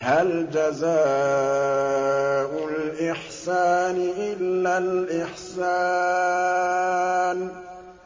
هَلْ جَزَاءُ الْإِحْسَانِ إِلَّا الْإِحْسَانُ